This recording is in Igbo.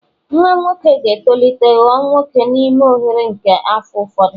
Nwa nwoke ga-etolite ghọọ nwoke n'ime oghere nke afọ ụfọdụ